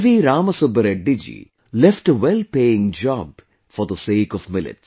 Rama Subba Reddy Ji left a well paying job for the sake of millets